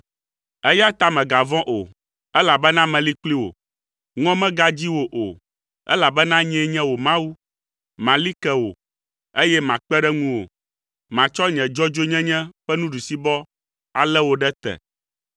eya ta mègavɔ̃ o, elabena meli kpli wò. Ŋɔ megadzi wò o, elabena nyee nye wò Mawu. Mali ke wò, eye makpe ɖe ŋuwò; matsɔ nye dzɔdzɔenyenye ƒe nuɖusibɔ alé wò ɖe te.